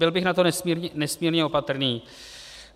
Byl bych na to nesmírně opatrný.